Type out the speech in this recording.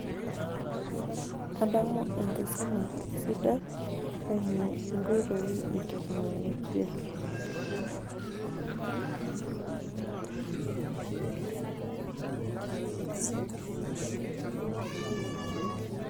adamu enkisuma sidai, eimu inkoitoi,e teknologia,